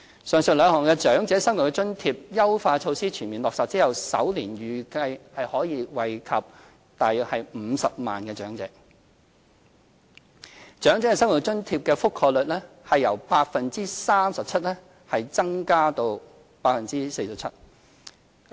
上述兩項長者生活津貼的優化措施全面落實後，預計首年將惠及約50萬名長者，長者生活津貼的覆蓋率將由 37% 增至 47%。